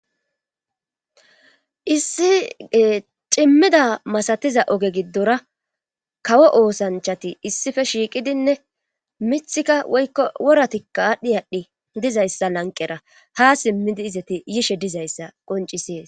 Issie cimmida masatiza oge giddora kawo oosanchati issife shiiqidinne mithika woykko woratikka aadhdhi aadhdhi dizayssa lanqera ha simmidi izati yishe dizayssa qoncisees